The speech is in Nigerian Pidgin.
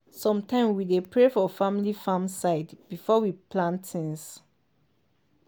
sometime we dey pray for family farm side before we plant things.